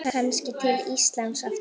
Kannski til Íslands aftur?